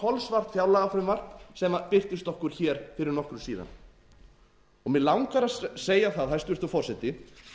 kolsvart fjárlagafrumvarp sem birtist okkur hér fyrir nokkru síðan mig langar að segja það hæstvirtur forseti